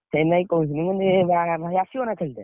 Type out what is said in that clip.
ସେଇନାଗି କହୁଥିଲି ମୁଁ କହୁଥିଲି ଭାଇ ଆସିବ ନା ଖେଳତେ?